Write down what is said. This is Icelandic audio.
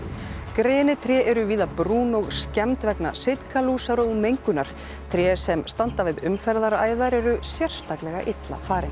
grenitré eru víða brún og skemmd vegna sitkalúsar og mengunar tré sem standa við umferðaræðar eru sérstaklega illa farin